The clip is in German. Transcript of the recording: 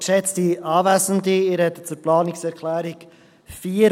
Ich spreche zur Planungserklärung 4: